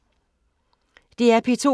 DR P2